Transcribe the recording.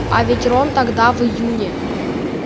а ведь рон тогда в июне